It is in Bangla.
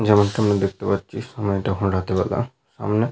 যেমনটি আমরা দেখতে পাচ্ছি সময়টা এখন রাতের বেলা। সামনে --